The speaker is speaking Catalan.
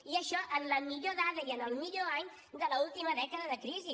i això en la millor dada i en el millor any de l’última dècada de crisi